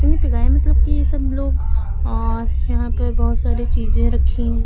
मतलब की सब लोग और यहां पे बहोत सारी चीजे रखी हैं।